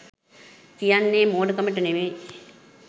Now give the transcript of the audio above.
කියන්නේ මෝඩකමට නෙමේ.